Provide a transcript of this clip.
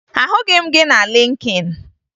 Ahụghị m gị na Lịnkịn